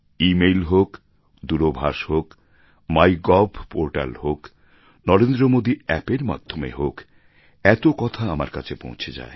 ই mail হোক দূরভাষ হোক মাই গভ পোর্টাল হোক নরেন্দ্র মোদী অ্যাপের মাধ্যমে হোক এত কথা আমার কাছে পৌঁছে যায়